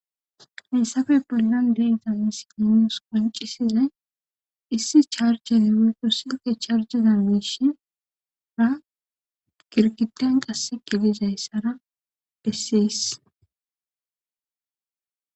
Hinsafe bollan deyza isininios qoncisizay issi charjezewey pursinte charjezan miishinra girgiten qasse qilizay sara desseys